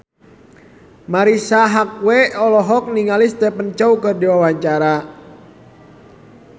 Marisa Haque olohok ningali Stephen Chow keur diwawancara